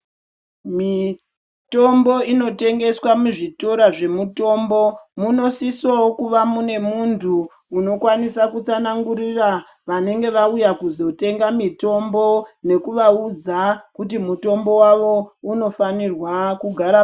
Mitombo inotengeswa muzvituro munosisawo kuva mune muntu unokwanise kutsanangirira vanenge vauya kuzotenga mitombo nekuvaudza kuti mutombo wavo unofanirwa kugara.